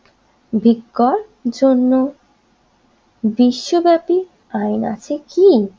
বিক্রয়ের জন্য বিশ্বব্যাপী আইন আছে কি?